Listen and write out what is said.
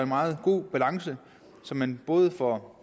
meget god balance så man både får